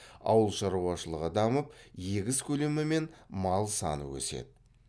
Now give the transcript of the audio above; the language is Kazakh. ауыл шаруашылығы дамып егіс көлемі мен мал саны өседі